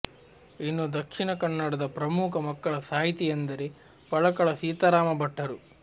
ಇನ್ನು ದಕ್ಶಿಣ ಕನ್ನಡದ ಪ್ರಮುಖ ಮಕ್ಕಳ ಸಾಹಿತಿಯೆಂದರೆ ಪಳಕಳ ಸೀತಾರಾಮ ಭಟ್ಟರು